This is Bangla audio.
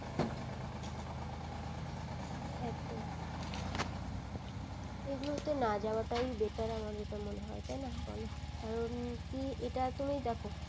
একদম এগুলো তে না যাওয়া তাই better আমার যেটা মনে হয় তাই না বলো কারণ কি এটাতো তুমি দেখো